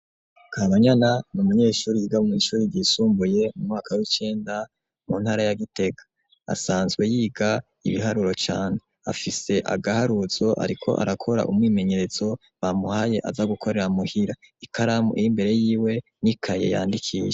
Kabanyana ni umunyeshure yiga mw'ishure ryisumbuye mu mwaka w'icenda mu ntara ya Gitega, asanzwe yiga ibiharuro cane, afise agaharuzo ariko arakora umwimenyerezo bamuhaye aza gukorera muhira, ikaramu iri imbere yiwe n'ikaye yandikisha.